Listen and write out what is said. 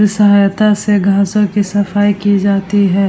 सहायता से घासो की सफाई की जाती है।